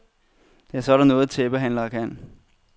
Det er sådan noget, tæppehandlere kan.